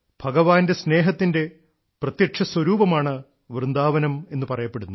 ഭഗവാന്റെ സ്നേഹത്തിന്റെ പ്രത്യക്ഷ സ്വരൂപമാണ് വൃന്ദാവനമെന്നു പറയപ്പെടുന്നു